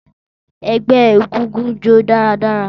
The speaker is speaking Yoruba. Ẹgbẹ egúngún jó daradara